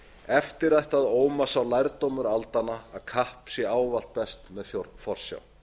eftir ætti að óma sá lærdómur aldanna að kapp sé ávallt best með forsjá